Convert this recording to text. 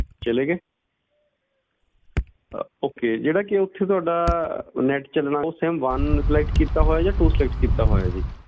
ਚਲੇ ਗਏ ਅਹ okay ਜਿਹੜਾ ਕਿ ਉੱਥੇ ਤੁਹਾਡਾ net ਚੱਲਣਾ ਉਹ sim one select ਕੀਤਾ ਹੋਇਆ ਜਾਂ two select ਕੀਤਾ ਹੋਇਆ ਜੀ?